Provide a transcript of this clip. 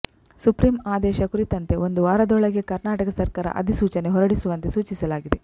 supreme ಆದೇಶ ಕುರಿತಂತೆ ಒಂದು ವಾರದೊಳಗೆ ಕರ್ನಾಟಕ ಸರ್ಕಾರ ಅಧಿಸೂಚನೆ ಹೊರಡಿಸುವಂತೆ ಸೂಚಿಸಲಾಗಿದೆ